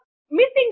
ಮ್ಮ್ಎಲ್ಲಿದೆ ಅದು